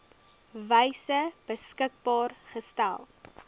wyse beskikbaar gestel